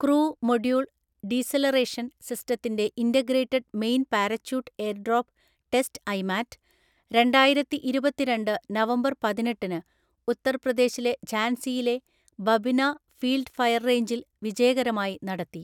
Crew module‍ deceleration‍ സിസ്റ്റത്തിന്റെ integrated main‍ parachute airdrop test IMAT രണ്ടായിരത്തിഇരുപത്തിരണ്ട് November പതിനെട്ടിന് ഉത്തർപ്രദേശിലെ ഝാൻസിയിലെ ബബിന ഫീൽഡ് ഫയര്‍ റേഞ്ചില്‍ വിജയകരമായി നടത്തി.